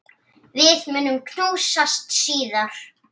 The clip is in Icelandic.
Við munum knúsast síðar.